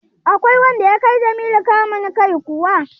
Akwai wanda ya kai Jamilu kamun kai kuwa?